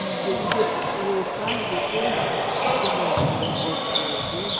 Qual o nome? e depois, e o pai, depois, quando a a avó ficou doente,